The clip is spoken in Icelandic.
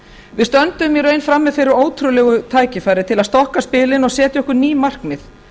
við stöndum í raun frammi fyrir ótrúlegu tækifæri til að stokka spilin og setja okkur ný markmið